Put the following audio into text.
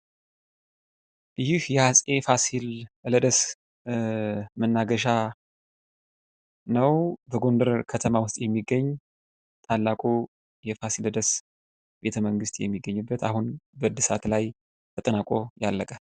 ይህ የአፄ ፋሲለደስ መናገሻ ነው። በጎንደር ከተማ ውስጥ የሚገኝ ታላቁ የፋሲለደስ ቤተመንግስት የሚገኝበት አሁን በእድሳት ላይ ተጠናቆ ያለቀ።